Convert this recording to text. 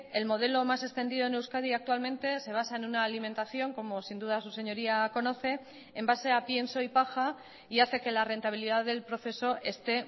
el modelo más extendido en euskadi actualmente se basa en una alimentación como sin duda su señoría conoce en base a pienso y paja y hace que la rentabilidad del proceso esté